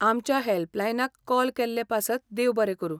आमच्या हॅल्पलायनाक कॉल केल्लें पासत देव बरें करूं.